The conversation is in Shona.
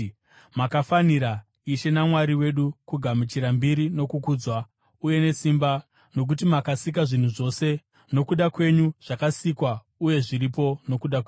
“Makafanira, Ishe naMwari wedu, kugamuchira kubwinya nokukudzwa, uye nesimba, nokuti makasika zvinhu zvose, nokuda kwenyu zvakasikwa, uye zviripo nokuda kwenyu.”